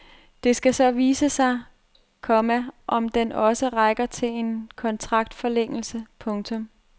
Det skal så vise sig, komma om den også rækker til en kontraktforlængelse. punktum